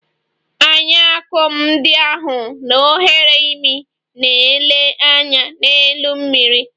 Anya akum ndị ahụ na oghere imi na - ele anya n'elu mmiri.